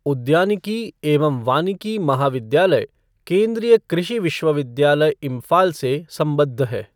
उद्यानिकी एवं वानिकी महाविद्यालय, केंद्रीय कृषि विश्वविद्यालय, इम्फाल से संबद्ध है।